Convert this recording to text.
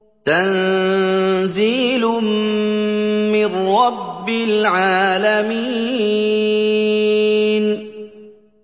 تَنزِيلٌ مِّن رَّبِّ الْعَالَمِينَ